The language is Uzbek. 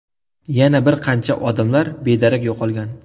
Yana bir qancha odamlar bedarak yo‘qolgan.